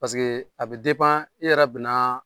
Paseke a bɛ e yɛrɛ bɛ na